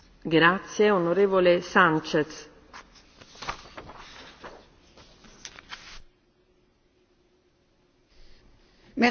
Madame la Présidente, l'Union européenne a dans ses gènes la liberté de circulation, qu'elle soit pour les marchandises, les capitaux, les services et les personnes.